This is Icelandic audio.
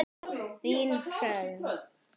Þín, Hrönn.